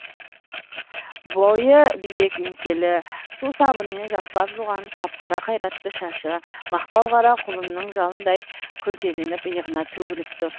бойы биік еңселі су сабынмен жақсылап жуған қап қара қайратты шашы мақпал қара құлынның жалындай күлтеленіп иығына төгіліп тұр